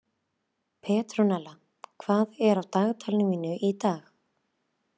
Petrúnella, hvað er á dagatalinu mínu í dag?